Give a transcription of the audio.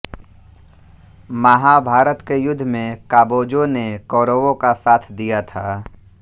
महाभारत के युद्ध में काबोजों ने कौरवों का साथ दिया था